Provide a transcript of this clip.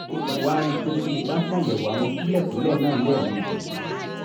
mo wá rí i pé tí mo bá ṣàyẹ̀wò àwọn kúlẹ̀kúlẹ̀ náà lẹ́ẹ̀mejì